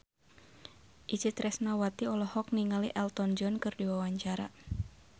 Itje Tresnawati olohok ningali Elton John keur diwawancara